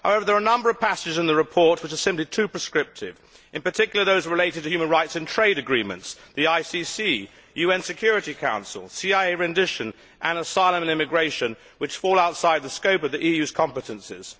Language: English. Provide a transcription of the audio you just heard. However, there are a number of passages in the report which are simply too prescriptive, in particular those relating to human rights in trade agreements, the ICC, the UN Security Council, CIA rendition, and asylum and immigration, which fall outside the scope of the EU's competences.